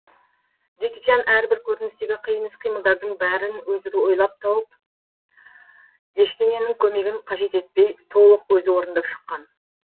джеки чан әрбір көріністегі қиын іс қимылдардың бәрін өзі ойлап тауып ештеңенің көмегін қажет етпей толық өзі орындап шыққан